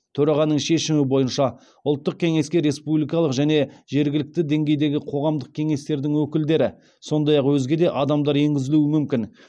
төрағаның шешімі бойынша ұлттық кеңеске республикалық және жергілікті деңгейдегі қоғамдық кеңестердің өкілдері сондай ақ өзге де адамдар енгізілуі мүмкін